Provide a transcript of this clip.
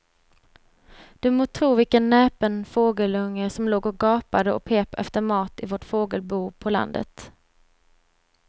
Du må tro vilken näpen fågelunge som låg och gapade och pep efter mat i vårt fågelbo på landet.